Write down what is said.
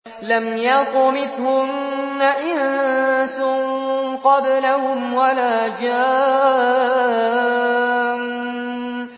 لَمْ يَطْمِثْهُنَّ إِنسٌ قَبْلَهُمْ وَلَا جَانٌّ